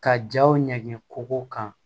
Ka jaw ɲɛ kow kan